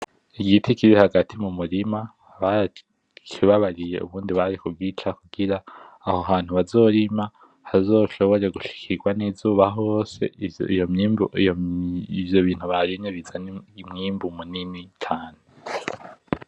Igiti kiri hagati mu murima bara kibabariye ubundi bari kugica kugira aho hantu bazorima hazoshobore gushikirwa nizuba hose, ivyo bintu barimye bizane imyimbu minini cane.